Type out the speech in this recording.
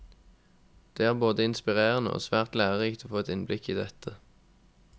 Det er både inspirerende og svært lærerikt å få et innblikk i dette.